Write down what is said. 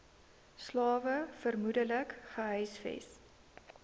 slawe vermoedelik gehuisves